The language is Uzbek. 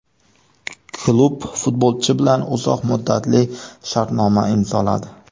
Klub futbolchi bilan uzoq muddatli shartnoma imzoladi.